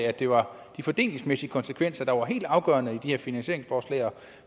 at det var de fordelingsmæssige konsekvenser der var helt afgørende i de her finansieringsforslag og